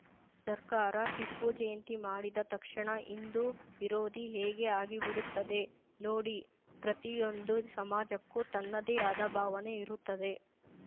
ಸರ್ಕಾರ ಟಿಪ್ಪು ಜಯಂತಿ ಮಾಡಿದ ತಕ್ಷಣ ಹಿಂದೂ ವಿರೋಧಿ ಹೇಗೆ ಆಗಿಬಿಡುತ್ತದೆ ನೋಡಿ ಪ್ರತಿಯೊಂದು ಸಮಾಜಕ್ಕೂ ತನ್ನದೇ ಆದ ಭಾವನೆ ಇರುತ್ತದೆ